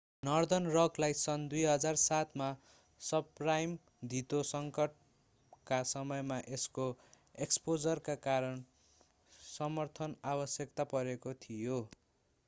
northern रकलाई सन् 2007 मा सबप्राइम धितो सङ्कटका समयमा यसको एक्सपोजरका कारण समर्थन आवश्यक परेको थियो